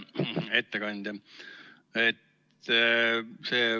Hea ettekandja!